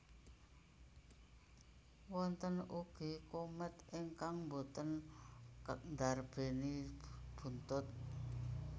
Wonten ugi komet ingkang boten ndarbéni buntut